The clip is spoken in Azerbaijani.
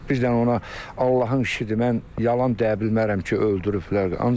Bir dənə ona Allahın işidir, mən yalan deyə bilmərəm ki, öldürüblər.